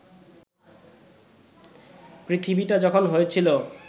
পৃথিবীটা যখন হয়েছিল